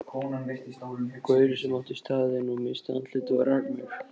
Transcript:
Gaurinn sem átti staðinn missti andlitið og rak mig.